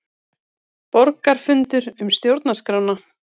Borgarafundur um stjórnarskrána